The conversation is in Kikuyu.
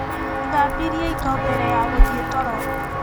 Thambirie indo mbere ya gũthiĩ toro.